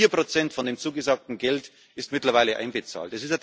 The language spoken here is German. Vier Prozent von dem zugesagten Geld sind mittlerweile einbezahlt.